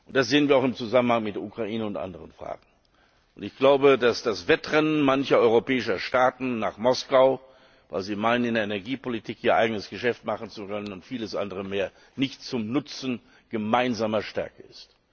Das sehen wir auch im Zusammenhang mit der Ukraine und anderen Fragen. Ich glaube, dass das Wettrennen mancher europäischer Staaten nach Moskau, weil sie meinen, in der Energiepolitik ihr eigenes Geschäft machen zu können und vieles andere mehr, nicht zum Nutzen gemeinsamer Stärke ist.